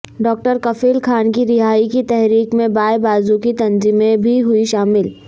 doctor Kafeel Khan کی رہائی کی تحریک میں بائیں بازو کی تنظمیں بھی ہوئیں شامل